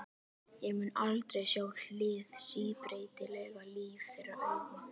Ég mun aldrei sjá hið síbreytilega líf þeirra augum.